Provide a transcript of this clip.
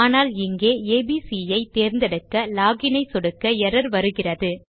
ஆனால் இங்கே ஏபிசி ஐ தேர்ந்தெடுக்க லாக் இன் ஐ சொடுக்க எர்ரர் வருகிறது